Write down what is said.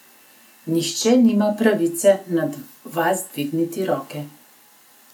Nihče nima pravice nad vas dvigniti roke.